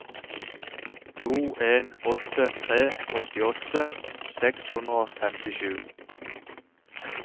to en åtte tre åttiåtte seks hundre og femtisju